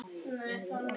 Og er það ekki furða.